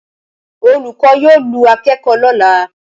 Olùkọ́ yóò lu akẹ́kọ̀ọ́ lọ́la